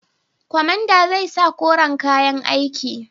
Kwamandan zai sa koren kayan aiki.